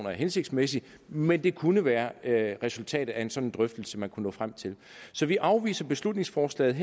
er hensigtsmæssigt men det kunne være det resultat af en sådan drøftelse man kunne nå frem til så vi afviser beslutningsforslaget